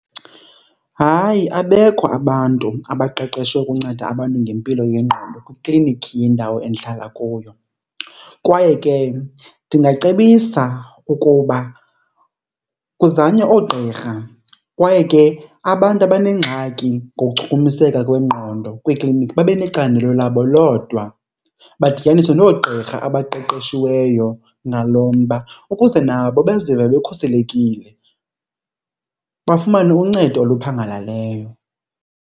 Hayi, abekho abantu abaqeqeshwe ukunceda abantu ngempilo yengqondo kwikliniki yendawo endihlala kuyo kwaye ke ndingacebisa ukuba kuzanywe oogqirha. Kwaye ke abantu abanengxaki ngokuchukumiseka kwengqondo kwikliniki babe necandelo labo lodwa, badityaniswe noogqirha abaqeqeshiweyo ngalo mba ukuze nabo bazive bekhuselekile, bafumane uncedo oluphangaleleyo.